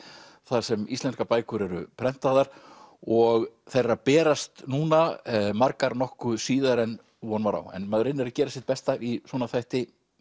þar sem íslenskar bækur eru prentaðar og þær eru að berast núna margar nokkuð síðar en von var á maður reynir að gera sitt besta í svona þætti